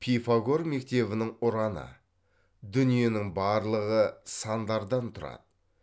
пифагор мектебінің ұраны дүниенің барлығы сандардан тұрады